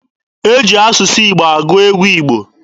E ji asụsụ Igbo agụ egwu Igbo.